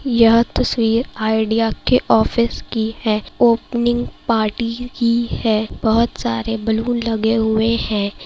यह तस्वीर आईडिया के ऑफिस की है ओपनिंग पार्टी की है बहुत सारे बैलून लगे हुए हैं।